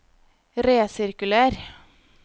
resirkuler